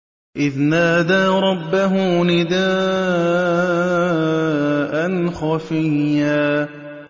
إِذْ نَادَىٰ رَبَّهُ نِدَاءً خَفِيًّا